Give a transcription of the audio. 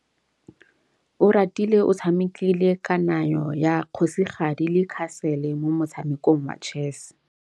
Oratile o tshamekile kananyô ya kgosigadi le khasêlê mo motshamekong wa chess.